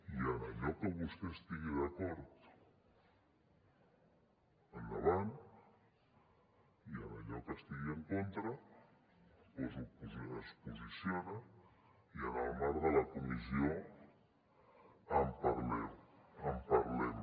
i en allò que vostè estigui d’acord endavant i en allò que hi estigui en contra es posiciona i en el marc de la comissió en parlem en parlem